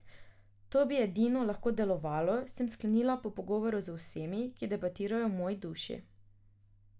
To bi edino lahko delovalo, sem sklenila po pogovoru z vsemi, ki debatirajo v moji duši.